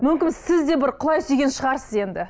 мүмкін сіз де бір құлай сүйген шығарсыз енді